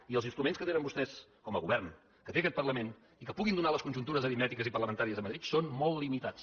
i els instruments que tenen vostès com a govern que té aquest parlament i que puguin donar les conjuntures aritmètiques i parlamentàries a madrid són molt limitats